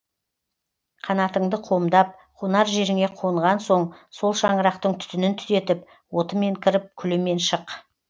қанатыңды қомдап қонар жеріңе қонған соң сол шаңырақтың түтінін түтетіп отымен кіріп күлімен шық